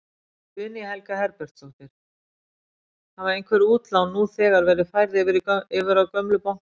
Guðný Helga Herbertsdóttir: Hafa einhver útlán nú þegar verið færð yfir í gömlu bankanna?